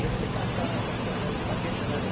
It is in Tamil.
லட்ச கணக்கான பக்தர்கள் பங்கேற்றனர்